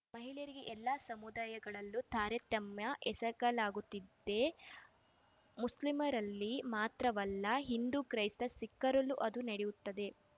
ಮಹಿಳೆಯರಿಗೆ ಎಲ್ಲ ಸಮುದಾಯಗಳಲ್ಲೂ ತಾರತಮ್ಯ ಎಸಗಲಾಗುತ್ತಿದೆ ಮುಸ್ಲಿಮರಲ್ಲಿ ಮಾತ್ರವಲ್ಲ ಹಿಂದೂ ಕ್ರೈಸ್ತ ಸಿಖ್ಖರಲ್ಲೂ ಅದು ನಡೆಯುತ್ತದೆ